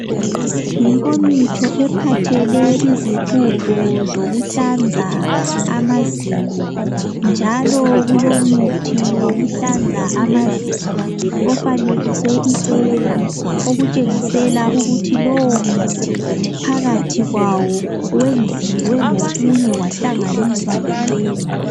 Inkomitsho ephathele zokuhlanza amazinyo njalo kulomuthi wokuhlanza amazinyo ofanekiswe icena. Okutshengisela ukuthi lowo muthi phakathi wenziwe ngokunye kwahlanganiswa lecena.